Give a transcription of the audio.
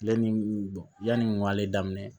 Ale ni yanni n k'ale daminɛ